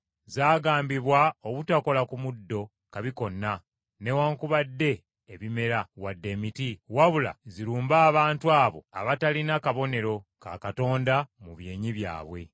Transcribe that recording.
Zaagambibwa obutakola ku muddo kabi konna, newaakubadde ebimera, wadde emiti; wabula zirumbe abantu abo abataalina kabonero ka Katonda mu byenyi byabwe.